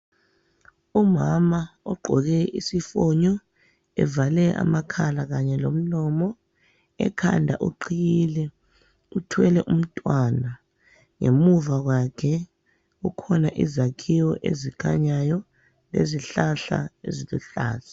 umama ogqoke isifonyo evale amakhala kanye lomlomo ekhanda uqhiyile uthwele umntwana ngemuva kwakhe kukhona izakhiwo ezikhanyayo lezihlahla eziluhlaza